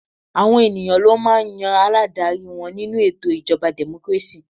Àwọn ènìyàn ló máà ń yan aládarí wọn nínú ètò ìjọba democracy.